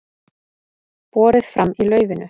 Borið fram í laufinu